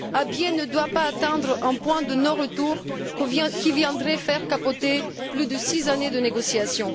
Abyei ne doit pas atteindre un point de non retour qui viendrait faire capoter plus de six années de négociations.